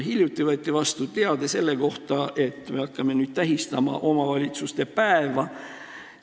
Hiljuti võeti vastu seadus, mille kohaselt me hakkame nüüd tähistama omavalitsuste päeva.